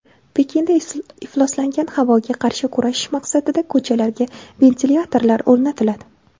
Pekinda ifloslangan havoga qarshi kurashish maqsadida ko‘chalarga ventilyatorlar o‘rnatiladi.